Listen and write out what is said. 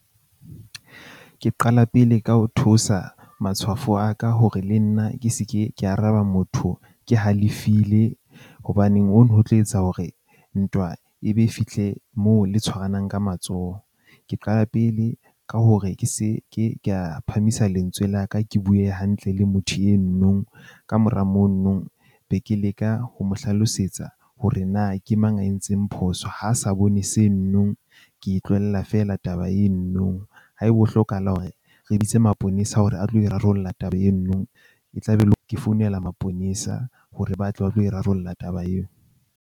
Ke qala pele ka ho theosa matshwafo a ka hore le nna ke se ke ka araba motho ke halefile. Hobaneng hono ho tlo etsa hore ntwa ebe fihle moo le tshwaranang ka matsoho. Ke qala pele ka hore ke se ke ka phahamisa lentswe la ka. Ke bue hantle le motho eno nong kamora mono be ke leka ho mo hlalosetsa hore na ke mang a entseng phoso. Ha sa bone seno nong, ke e tlohella fela taba eno nong. Haeba ho hlokahala hore re bitse maponesa hore a tle a tlo e rarolla taba eno nong, e tla be e le hore ke founela maponesa hore ba tle ba tlo e rarolla taba eo.